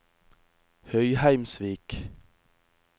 Høyheimsvik